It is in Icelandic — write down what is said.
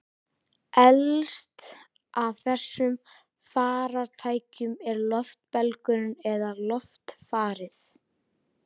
Elst af þessum farartækjum er loftbelgurinn eða loftfarið.